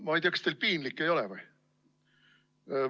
Ma ei tea, kas teil piinlik ei ole või?